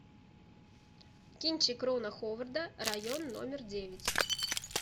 кинчик рона ховарда район номер девять